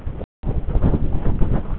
Þeir eru í stíl við snjóinn, sögðu þau.